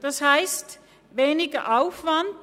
Das heisst: weniger Aufwand.